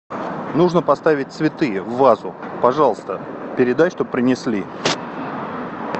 нужно поставить цветы в вазу пожалуйста передай чтоб принесли